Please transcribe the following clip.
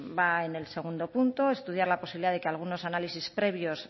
va en el segundo punto estudiar la posibilidad de que algunos análisis previos